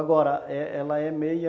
Agora ela é meia